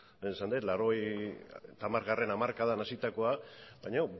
lehen esan dut laurogeita hamargarrena hamarkadan hasitakoa baina